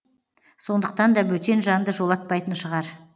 сондықтан да бөтен жанды жолатпайтын шығар